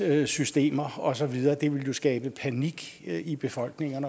systemer og så videre det ville jo skabe panik i befolkningen